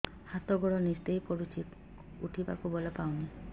ହାତ ଗୋଡ ନିସେଇ ପଡୁଛି ଉଠିବାକୁ ବଳ ପାଉନି